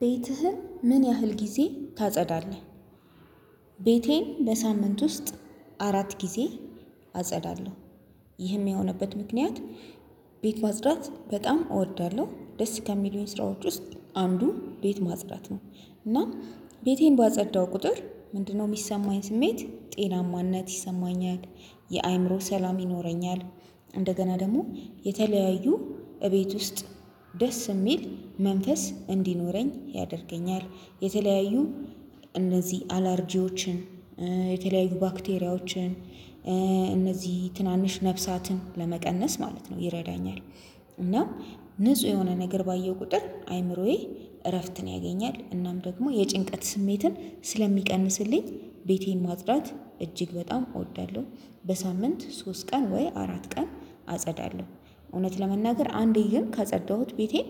ቤትህን ምን ያህል ጊዜ ታጸዳለህ? ቤቴን በሳምንት ውስጥ አራት ጊዜ አጸዳለሁ። ይህም የሆነበት ምክንያት ቤት ማጽዳት በጣም እወዳለሁ ደስ ከሚሉኝ ስራዎች ውስጥ አንዱ ቤት ማጽዳት ነው። እና ቤቴን ባጸዳው ቁጥር ምንድነው? ሚሰማኝ ስሜት ጤናማነት ይሰማኛል የአእምሮ ሰላም ይኖረኛል። እንደገና ደግሞ የተለያዩ እቤት ውስጥ ደስ እሚል መንፈስ እንዲኖረኝ ያደርገኛል። የተለያዩ እነዚህ አላርጂዎችን የተለያዩ ባክቴሪያዎችን እነዚህ ትናንሽ ነፍሳትን ለመቀነስ ማለት ነው ይረዳኛል። እና ንጹህ የሆነ ነገር ባየው ቁጥር አይምሮዬ እረፍትን ያገኛል እናም ደግሞ የጭንቀት ስሜትን ስለሚቀንስልኝ ቤቴን ማጽዳት እጅግ በጣም እወዳለሁ። በሳምንት ሶስት ቀን ወይ አራት ቀን አጸዳለሁ። እውነት ለመናገር አንዴ ግን ካጸዳሁት ቤቴን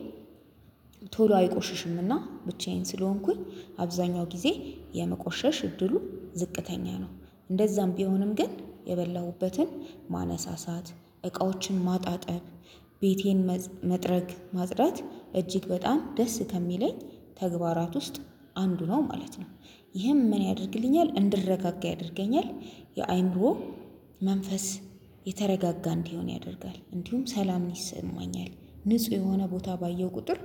ቶሎ አይቆሽሽምና ብቻዬን ስለሆንኩኝ አብዛኛው ጊዜ የመቆሸሽ እድሉ ዝቅተኛ ነው። እንደዛም ቢሆንም ግን የበላሁበትን ማነሳሳት እቃዎችን ማጣጠብ ቤቴን መጥረግ ማጽዳት እጅግ በጣም ደስ ከሚለኝ ተግባራት ውስጥ አንዱ ነው ማለት ነው። ይህም ምን ያደርግልኛል እንድረጋጋ ያደርገኛል። የአይምሮ መንፈስ የተረጋጋ እንዲሆን ያደርጋል እንዲሁም ሰላምን ይሰማኛል። ንጹህ የሆነ ቦታ ባየው ቁጥር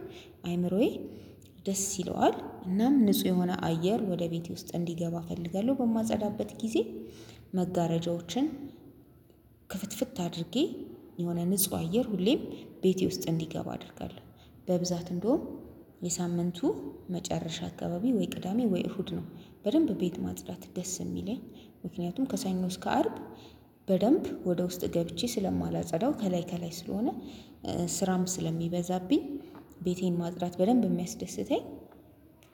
አይምሮዬ ደስ ይለዋል እናም ንጹህ የሆነ አየር ወደ ቤቴ ውስጥ እንዲገባ እፈልጋለሁ። በማጸዳበት ጊዜ መጋረጃዎችን ክፍትፍት አድርጌ የሆነ ንጹህ አየር ሁሌም ቤቴ ውስጥ እንዲገባ አደርጋለሁ። በብዛት እንደውም የሳምንቱ መጨረሻ አካባቢ ወይ ቅዳሜ ወይ እሁድ ነው። በደንብ ቤት ማጽዳት ደስ እሚለኝ ምክንያቱም ከሰኞ እስከ አርብ በደንብ ወደ ውስጥ ገብቼ ስለማላጸዳው ከላይ ከላይ ስለሆነ ስራም ስለሚበዛብኝ ቤቴን ማጽዳት በደንብ እሚያስደስተኝ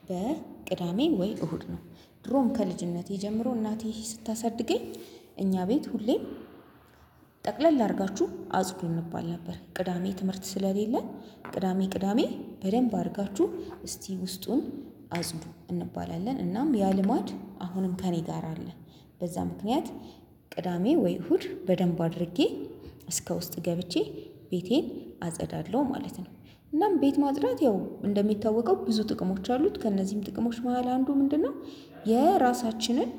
በቅዳሜ ወይ እሁድ ነው። ድሮም ከልጅነቴ ጀምሮ እናቴ ስታሳድገኝ እኛ ቤት ሁሌም ጠቅለል አርጋችሁ አጽዱ እንባል ነበር። ቅዳሜ ትምህርት ስለሌለ ቅዳሜ ቅዳሜ በደንብ አርጋችሁ እስቲ ውስጡን አጽዱ እንባላለን እናም ያ ልማድ አሁንም ከእኔ ጋር አለ። በዛ ምክንያት ቅዳሜ ወይ እሁድ በደንብ አድርጌ እስከ ውስጥ ገብቼ ቤቴን አጸዳለሁ ማለት ነው። እናም ቤት ማጽዳት ያው እንደሚታወቀው ብዙ ጥቅሞች አሉት ከእነዚህም ጥቅሞች መሃል አንዱ ምንድነው? የራሳችንን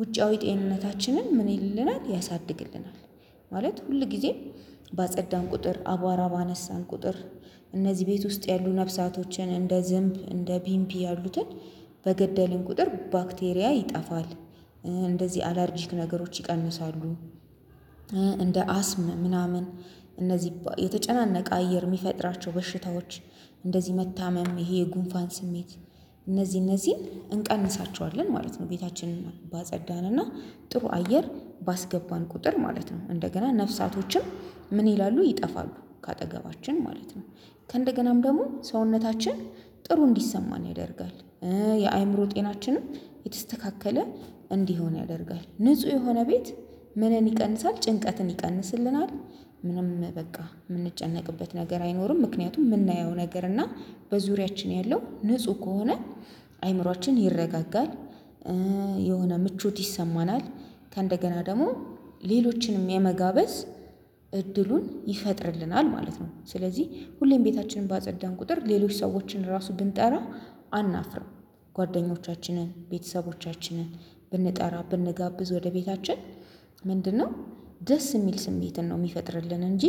ውጫዊ ጤንነታችንን ምን ይልልናል ያሳድግልናል። ማለት ሁል ጊዜም ባጸዳን ቁጥር አቧራ ባነሳን ቁጥር እነዚህ ቤት ውስጥ ያሉ ነፍሳቶችን እንደ ዝምብ እንደ ቢምቢ ያሉትን በገደልን ቁጥር ባክቴሪያ ይጠፋል። እንደዚህ አላርጂክ ነገሮች ይቀንሳሉ። እንደ አስም ምናምን እነዚህ የተጨናነቀ አየር የሚፈጥራቸው በሽታዎች እንደዚህ መታመም ይሄ የጉንፋን ስሜት እነዚህ እነዚህን እንቀንሳቸዋለን። ማለት ነው ቤታችንን ባጸዳንና ጥሩ አየር ባስገባን ቁጥር ማለት ነው እንደገና ነፍሳቶችም ምን ይላሉ ይጠፋሉ ከአጠገባችን ማለት ነው። ከእንደገናም ደግሞ ሰውነታችን ጥሩ እንዲሰማን ያደርጋል። የአይምሮ ጤናችንም የተስተካከለ እንዲሆን ያደርጋል ንጹህ የሆነ ቤት ምንን ይቀንሳል ጭንቀትን ይቀንስልናል። ምንም በቃ ምንጨነቅበት ነገር አይኖርም ምክንያቱም ምናየው ነገር እና በዙሪያችን ያለው ንጹህ ከሆነ አይምሮአችን ይረጋጋል። የሆነ ምቾት ይሰማናል። ከእንደገና ደግሞ ሌሎችንም የመጋበዝ እድሉን ይፈጥርልናል ማለት ነው። ስለዚህ ሁሌም ቤታችንን ባጸዳን ቁጥር ሌሎች ሰዎችን ራሱ ብንጠራ አናፍርም። ጓደኞቻችንን ቤተሰቦቻችንን ብንጠራ ብንጋብዝ ወደ ቤታችን ምንድነው? ደስ ሚል ስሜትን ነው ሚፈጥርልን እንጂ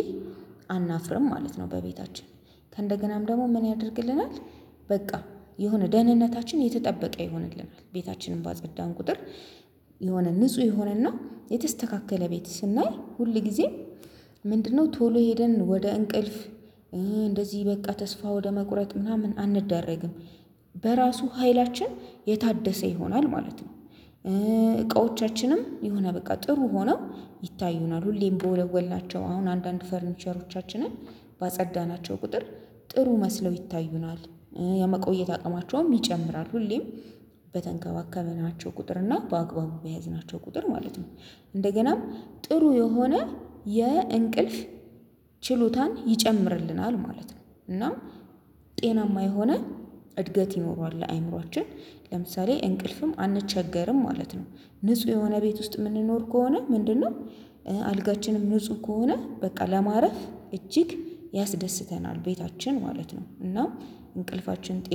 አናፍርም ማለት ነው። በቤታችን ከእንደገናም ደግሞ ምን ያደርግልናል? በቃ የሆነ ደህንነታችን የተጠበቀ ይሆንልናል። ቤታችንም ባጸዳን ቁጥር የሆነ ንጹህ የሆነና የተስተካከለ ቤት ስናይ ሁል ጊዜም ምንድነው ቶሎ ሄደን ወደ እንቅልፍ እንደዚህ በቃ ተስፋ ወደ መቁረጥ ምናምን አንደረግም። በራሱ ሀይላችን የታደሰ ይሆናል ማለት ነው። እቃዎቻችንም የሆነ በቃ ጥሩ ሆነው ይታዩናል ሁሌም በወለወልናቸው አሁን አንዳንድ ፈርኒቸሮቻችንን ባጸዳናቸው ቁጥር ጥሩ መስለው ይታዩናል። የመቆየት አቅማቸውም ይጨምራል ሁሌም በተንከባከበናቸው ቁጥር እና በአግባቡ በያዝናቸው ቁጥር ማለት ነው። እንደገናም ጥሩ የሆነ የእንቅልፍ ችሎታን ይጨምርልናል ማለት ነው። እና ጤናማ የሆነ እድገት ይኖረዋል ለአይምሮአችን ለምሳሌ እንቅልፍም አንቸገርም ማለት ነው። ንጹህ የሆነ ቤት ውስጥ ምንኖር ከሆነ ምንድነው? አልጋችንም ንጹህ ከሆነ በቃ ለማረፍ እጅግ ያስደስተናል ቤታችን ማለት ነው እና እንቅልፋችን ጤና